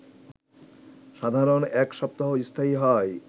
সাধারণত এক সপ্তাহ স্থায়ী হয়